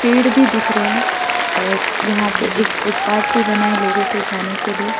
भीड़ भी दिख रहे हैं और यहां पे एक फुटपाथ भी बना है लोगों के जाने के लिए।